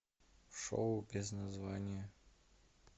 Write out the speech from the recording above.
шоу без названия